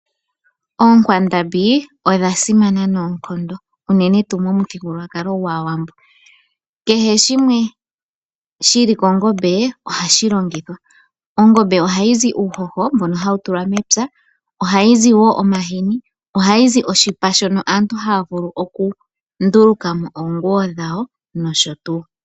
Ookwandambi odha simana noonkondo unene momuthigululwakalo gwaawambo. Kehe shimwe shili kongombe ohashi longithwa. Ongombe ohaizi uuhoho mbobo hau tulwa mepya, ohayi zi wo omahini, ohayi zi oshipa shono aantu haa vulu okunduluka po oonguwo dhawo nosho tuu.